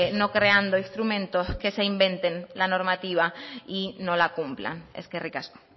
no creando instrumentos que se inventen la normativa y no la cumplan eskerrik asko